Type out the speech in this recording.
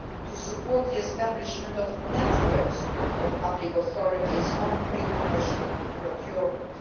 to support the establishment of networks of public authorities on pre commercial procurement.